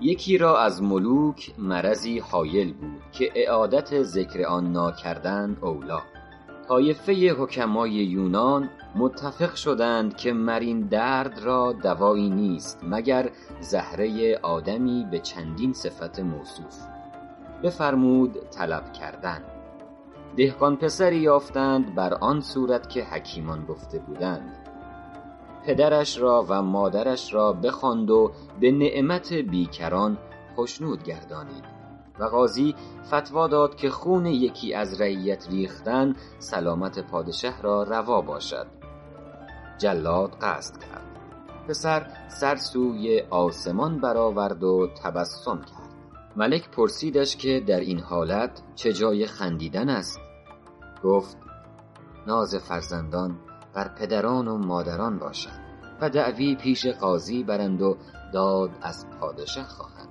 یکی را از ملوک مرضی هایل بود که اعادت ذکر آن ناکردن اولیٰ طایفه حکمای یونان متفق شدند که مر این درد را دوایی نیست مگر زهره آدمی به چندین صفت موصوف بفرمود طلب کردن دهقان پسری یافتند بر آن صورت که حکیمان گفته بودند پدرش را و مادرش را بخواند و به نعمت بیکران خشنود گردانیدند و قاضی فتویٰ داد که خون یکی از رعیت ریختن سلامت پادشه را روا باشد جلاد قصد کرد پسر سر سوی آسمان بر آورد و تبسم کرد ملک پرسیدش که در این حالت چه جای خندیدن است گفت ناز فرزندان بر پدران و مادران باشد و دعوی پیش قاضی برند و داد از پادشه خواهند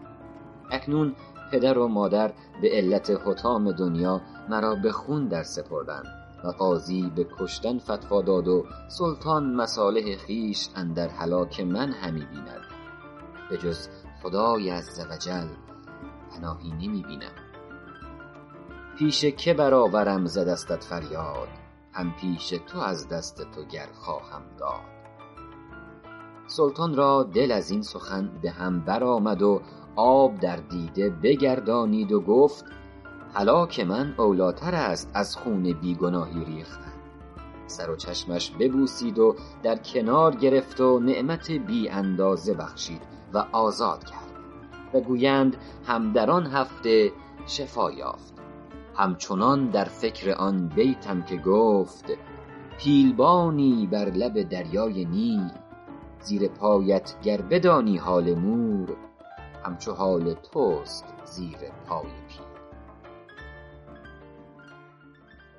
اکنون پدر و مادر به علت حطام دنیا مرا به خون درسپردند و قاضی به کشتن فتویٰ داد و سلطان مصالح خویش اندر هلاک من همی بیند به جز خدای عزوجل پناهی نمی بینم پیش که بر آورم ز دستت فریاد هم پیش تو از دست تو گر خواهم داد سلطان را دل از این سخن به هم بر آمد و آب در دیده بگردانید و گفت هلاک من اولیٰ تر است از خون بی گناهی ریختن سر و چشمش ببوسید و در کنار گرفت و نعمت بی اندازه بخشید و آزاد کرد و گویند هم در آن هفته شفا یافت هم چنان در فکر آن بیتم که گفت پیل بانی بر لب دریای نیل زیر پایت گر بدانی حال مور هم چو حال توست زیر پای پیل